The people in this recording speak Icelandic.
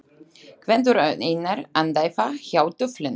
Gvendur og Einar andæfa hjá duflinu.